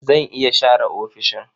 Zan iya share ofishin.